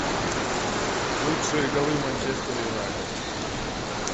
лучшие голы манчестер юнайтед